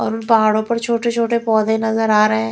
और उन पहाड़ों पर छोटे छोटे पौधे नजर आ रहे हैं।